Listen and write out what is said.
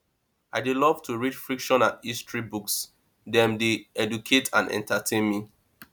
i dey love to read fiction and history books dem dey educate and entertain me